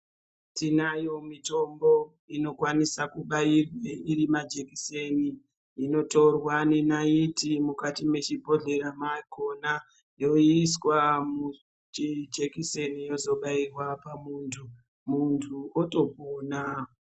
Tinayo mitombo inokwanisa kubairwe iri majekiseni. Inotorwa nenaiti mukati mwechibhodhleya makhona yoiswa muchijekiseni yozobairwa pamuntu, muntu otopona.